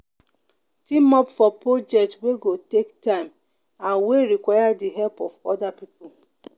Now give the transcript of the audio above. team up for project wey go take time and wey require di help of oda pipo